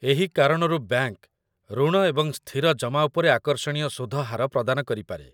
ଏହି କାରଣରୁ ବ୍ୟାଙ୍କ ଋଣ ଏବଂ ସ୍ଥିର ଜମା ଉପରେ ଆକର୍ଷଣୀୟ ସୁଧ ହାର ପ୍ରଦାନ କରିପାରେ